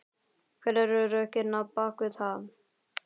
Hver eru rökin á bakvið það?